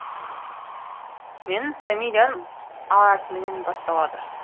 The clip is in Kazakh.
менің фамилиям а әрпінен басталады